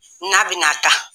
N'a bɛna taa